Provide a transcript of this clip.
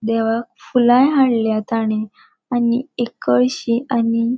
देवाक फुलाय हाडल्या ताणें आणि एक कलशी आणि --